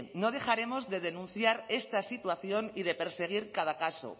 no dejaremos de denunciar esta situación y de perseguir cada caso